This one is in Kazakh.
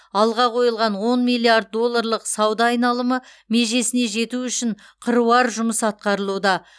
алға қойылған он миллиард долларлық сауда айналымы межесіне жету үшін қыруар жұмыс атқарылуда